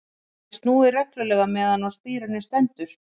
Þar er því snúið reglulega meðan á spíruninni stendur.